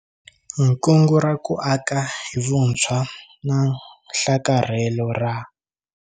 Nkungu ra ku aka hi vuntshwa na nhlakarhelo ra.